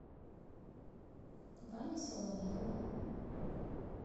ване соловьеву